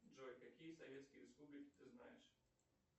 джой какие советские республики ты знаешь